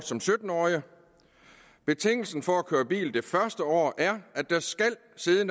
som sytten årige betingelsen for at køre bil det første år er